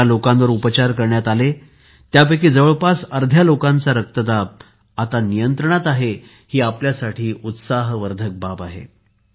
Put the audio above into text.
ज्या लोकांवर उपचार करण्यात आले त्यापैकी जवळपास अर्ध्या लोकांचा रक्तदाब आता नियंत्रणात आहे ही आपल्यासाठी उत्सवर्धक बाब आहे